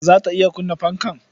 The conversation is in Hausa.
Za ta iya kunna fanka?